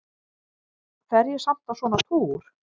Fer ég samt á svona túr?